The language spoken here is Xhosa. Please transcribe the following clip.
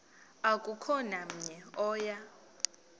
akukho namnye oya